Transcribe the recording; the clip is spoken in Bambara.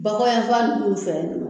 Bakɔ yanfan ninnu fɛ ye